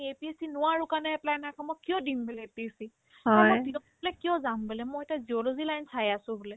APSC নোৱাৰো কাৰণেহে apply নাই কৰা মই কিয় দিম বোলে APSC অ মই বোলে PWD লৈ কিয় যাম বোলে মইতো geology line চাই আছো বোলে